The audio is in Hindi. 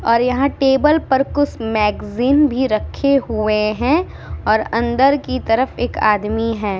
और यहाँ टेबल पर कुछ मैंगज़ीन भी रखे हुए हैं और अंदर की तरफ एक आदमी है।